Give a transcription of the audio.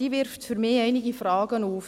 Diese wirft für mich einige Fragen auf.